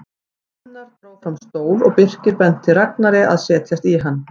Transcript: Gunnar dró fram stól og Birkir benti Ragnari að setjast í hann.